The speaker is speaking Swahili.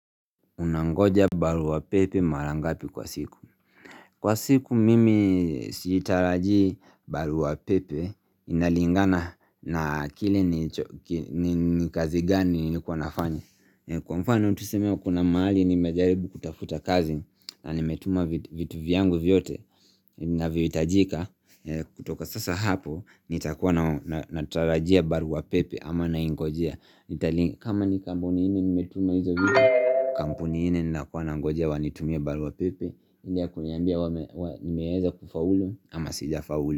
Unangoja barua pepe mara ngapi kwa siku Kwa siku mimi sitaraji barua pepe inalingana na kile ni kazi gani nilikuwa nafanya Kwa mfano tuseme kuna mahali nimejaribu kutafuta kazi na nimetuma vitu vyangu vyote vinavyo hitajika kutoka sasa hapo nitakuwa natarajia barua pepe ama na ingojea kama ni kampuni nne nimetuma hizo vitu Kampuni nne ninakuwa nangojea wanitumie barua pepe ile ya kuniambia nimeweza kufaulu ama sijafaulu.